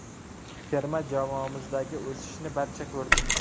Terma jamoamizdagi o‘sishni barcha ko‘rdi.